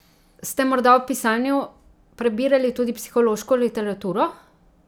Ste morda ob pisanju prebirali tudi psihološko literaturo?